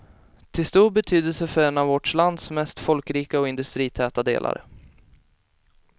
Till stor betydelse för en av vårt lands mest folkrika och industritäta delar.